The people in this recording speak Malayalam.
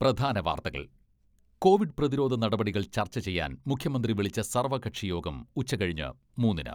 പ്രധാന വാർത്തകൾ കോവിഡ് പ്രതിരോധ നടപടികൾ ചർച്ച ചെയ്യാൻ മുഖ്യമന്ത്രി വിളിച്ച സർവ്വകക്ഷി യോഗം ഉച്ച കഴിഞ്ഞ് മൂന്നിന്.